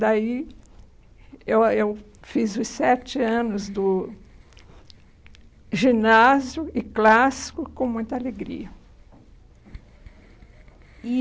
Daí eu a eu fiz os sete anos do ginásio e clássico com muita alegria.